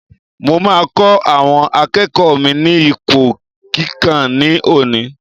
Mo máa kọ́ àwọn akẹ́kọ̀ọ́ mi ní ipò kíkà ní òní.